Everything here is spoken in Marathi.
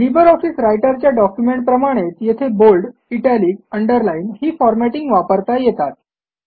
लिबर ऑफिस रायटरच्या डॉक्युमेंटप्रमाणेच येथे बोल्ड इटालिक अंडरलाईन ही फॉरमॅटिंग वापरता येतात